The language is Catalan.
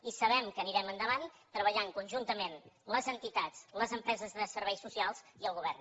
i sabem que anirem endavant treballant conjuntament les entitats les empreses de serveis socials i el govern